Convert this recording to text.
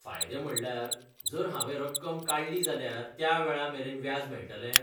फायदे म्हणल्यार, जर हांवें रक्कम काडली जाल्यार त्या वेळा मेरेन व्याज मेळटलें?